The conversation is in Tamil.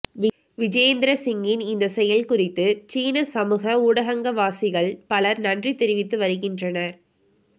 விஜேந்திர சிங்கின் இந்த செயல் குறித்து சீன சமூக ஊடகங்கவாசிகள் பலர் நன்றி தெரிவித்து வருகின்றனர்